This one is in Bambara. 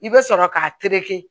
I bɛ sɔrɔ k'a tereke